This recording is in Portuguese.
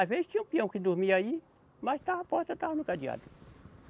Às vezes tinha um peão que dormia aí, mas estava a porta estava no cadeado.